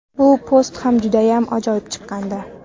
Bu post ham judayam ajoyib chiqqandi.